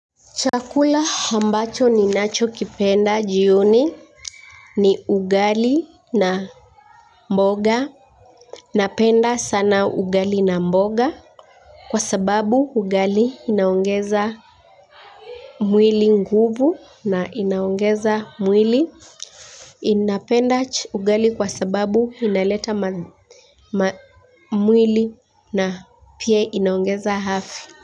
Chakula ambacho ninacho kipenda jioni ni ugali na mboga. Napenda sana ugali na mboga kwa sababu ugali inaongeza mwili nguvu na inaongeza mwili. Ninapenda ugali kwa sababu inaleta mwili na pia inaongeza afya.